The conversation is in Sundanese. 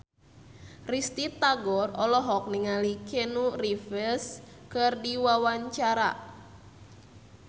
Risty Tagor olohok ningali Keanu Reeves keur diwawancara